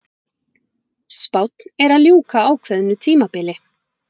Spánn er að ljúka ákveðnu tímabili.